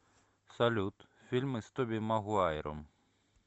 салют фильмы с тоби магуайром